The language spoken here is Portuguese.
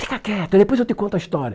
Fica quieto, depois eu te conto a história.